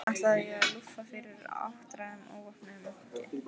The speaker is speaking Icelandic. Ætlaði ég að lúffa fyrir áttræðum óvopnuðum munki?